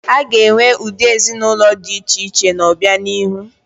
A ga-enwe ụdị ezinaụlọ dị iche iche n'obianihu.